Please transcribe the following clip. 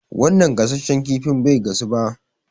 Wanan gasasshen kifin bai gasu ba